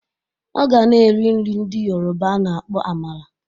Ọ ga-na eri nri ndị Yoroba a na-akpọ amala